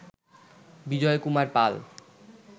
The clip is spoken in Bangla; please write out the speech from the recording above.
বিজয় কুমার পাল